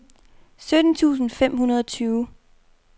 sytten tusind fem hundrede og tyve